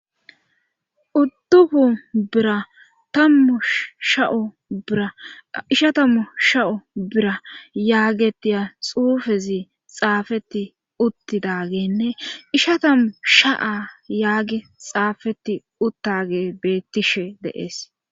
uddufu bira tammu sha'o biraishatammu sha'o bira yaagetiya xuufezi xaafeti uttidagenne isha tammu sha7a yaage xaafeti uttage beettishe deees